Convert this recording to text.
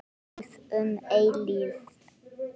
Líf um eilífð.